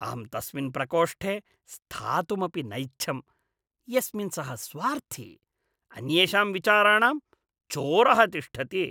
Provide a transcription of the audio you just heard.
अहं तस्मिन् प्रकोष्ठे स्थातुमपि नैच्छं यस्मिन् सः स्वार्थी, अन्येषां विचाराणां चोरः तिष्ठति।